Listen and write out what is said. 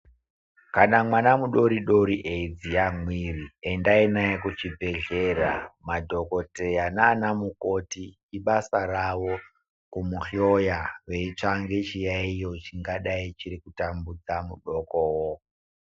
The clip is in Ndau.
Kana mwana mudoridori eyi dziya mwiri, endayi naye kuchibhedhlera, madhokodheya nana mukoti ibasa ravo kumuhloya veyitsvange chiyayiyo chingadayi chiri kutambudza mudokowo.